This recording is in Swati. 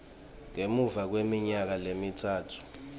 ngemuva kweminyaka lemitsatfu